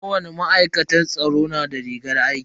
Kowani ma'aikatar tsaro na da rigar aiki.